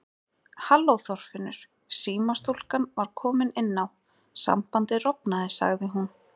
Halló Þorfinnur símastúlkan var komin inn á, sambandið rofnaði sagði hún.